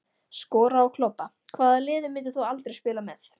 Skora og klobba Hvaða liði myndir þú aldrei spila með?